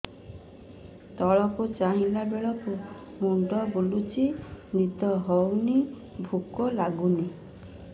ତଳକୁ ଚାହିଁଲା ବେଳକୁ ମୁଣ୍ଡ ବୁଲୁଚି ନିଦ ହଉନି ଭୁକ ଲାଗୁନି